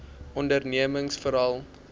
ondernemingsveral